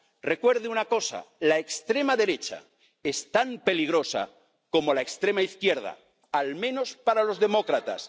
Recuerde una cosa la extrema derecha es tan peligrosa como la extrema izquierda, al menos para los demócratas.